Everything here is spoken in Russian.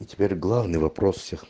и теперь главный вопрос всех